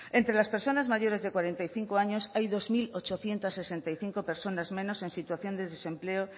entre las personas mayores de cuarenta y cinco años hay dos mil ochocientos sesenta y cinco personas menos en situación de desempleo